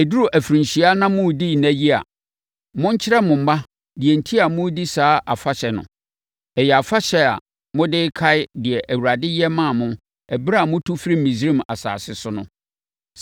Ɛduru afirinhyia na moredi nna yi a, monkyerɛ mo mma deɛ enti a moredi saa afahyɛ no. Ɛyɛ afahyɛ a mode bɛkae deɛ Awurade yɛ maa mo ɛberɛ a motu firii Misraim asase so no.